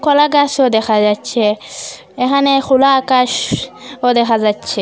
কলা গাসও দেখা যাচ্ছে এখানে খোলা আকাশও দেখা যাচ্ছে।